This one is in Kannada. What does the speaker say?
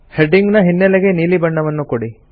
ಹೆಡ್ಡಿಂಗ್ ನ ಹಿನ್ನೆಲೆಗೆ ನೀಲಿ ಬಣ್ಣವನ್ನು ಕೊಡಿ